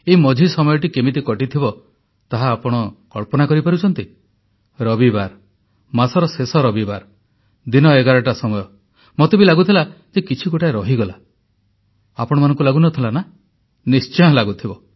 ଏହି ମଝି ସମୟଟି କେମିତି କଟିଥିବ ତାହା ଆପଣ କଳ୍ପନା କରିପାରୁଛନ୍ତି ରବିବାର ମାସର ଶେଷ ରବିବାର ଦିନ 11ଟା ସମୟରେ ମୋତେ ବି ଲାଗୁଥିଲା ଯେ କିଛି ଗୋଟାଏ ରହିଗଲା ଆପଣମାନଙ୍କୁ ବି ଲାଗୁଥିଲା ନା ନିଶ୍ଚୟ ଲାଗୁଥିବ